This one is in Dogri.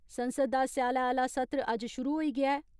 संसद दा स्याले आला सत्र अज्ज शुरू होई गेआ ऐ।